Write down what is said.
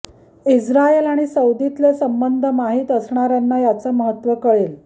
Israel आणि सौदीतले संबंध माहित असणाऱ्यांना याचं महत्व कळेल